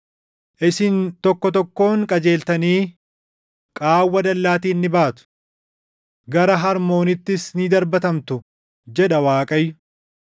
Isin tokko tokkoon qajeeltanii qaawwa dallaatiin ni baatu; gara Harmoonittis ni darbatamtu” jedha Waaqayyo.